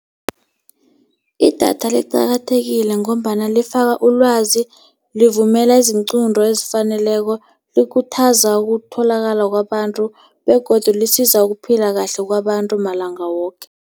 Idatha liqakathekile ngombana lifakwa ulwazi. Livumelela izinqunto ezifaneleko. Likhuthaza ukutholakala kwabantu, begodu lisiza ukuphila kahle kwabantu malanga woke.